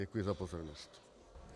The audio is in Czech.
Děkuji za pozornost.